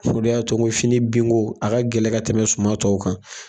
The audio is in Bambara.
O de y'a to n ko fini binko, a ka gɛlɛ ka tɛmɛ suma tɔw kan.